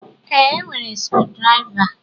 Ee, e nwere sukudiriva